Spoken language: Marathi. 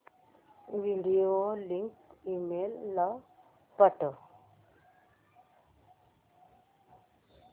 व्हिडिओ लिंक ईमेल ला पाठव